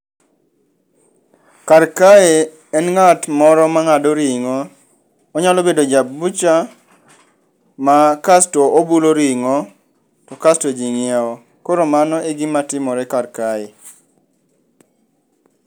Kar kae, en ng'at moro mang'ado ring'o. Onyalo bedo ja bucha, ma kasto obulo ring'o to kasto ji ng'iewo. Koro mano e gima timore kae.